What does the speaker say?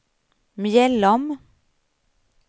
Mjällom